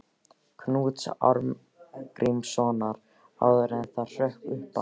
Knúts Arngrímssonar, áður en það hrökk upp af.